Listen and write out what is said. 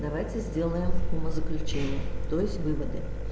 давайте сделаем умозаключение то есть выводы